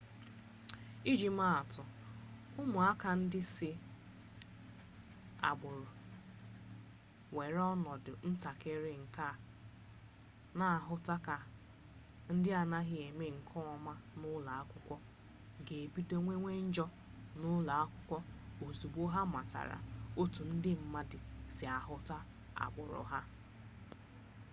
iji maa atụ ụmụaka ndị si agbụrụ nwere ọnọdụ ntakịrị nke a na-ahụta ka ndị na-anaghị eme nke ọma n'ụlọ akwụkwọ ga-ebido mewe njọ n'ụlọ akwụkwọ ozugbo ha matara otu ndị mmadụ si ahụta agbụrụ ha